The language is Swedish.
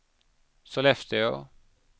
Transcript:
Sollefteå